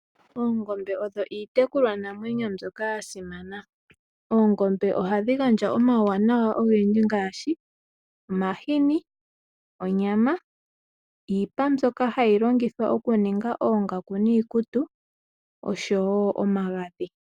Oongombe odho iitekulwanamwenyo mbyoka ya simana. Oongombe ohadhi gandja omauwanawa ogendji ngaashi omahini, onyama, iipa mbyoka hayi longithwa okuninga oongaku niikutu osho wo omagadhi.